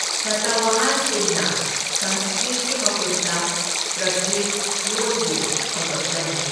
ꯁꯇꯋꯥꯍꯥꯟꯁꯤꯡꯅ ꯁꯪꯁꯀ꯭ꯔꯤꯠꯀꯤ ꯃꯍꯨꯠꯇ ꯄ꯭ꯔꯀ꯭ꯔꯤꯠ ꯂꯣꯟꯕꯨ ꯁꯧꯒꯠꯂꯝꯃꯤ꯫